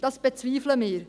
Das bezweifeln wir.